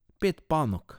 Pet panog.